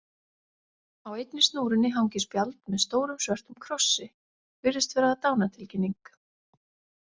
Á einni snúrunni hangir spjald með stórum, svörtum krossi, virðist vera dánartilkynning.